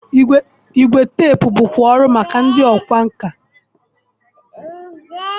Igwe teepu bụkwa ọrụ maka ndị ọkwá nkà.